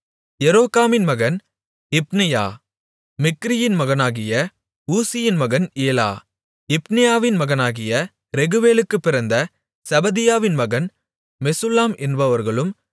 எரோகாமின் மகன் இப்னெயா மிக்கிரியின் மகனாகிய ஊசியின் மகன் ஏலா இப்னியாவின் மகனாகிய ரேகுவேலுக்குப் பிறந்த செபதியாவின் மகன் மெசுல்லாம் என்பவர்களும்